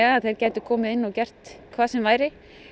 að þeir gætu komið inn og gert hvað sem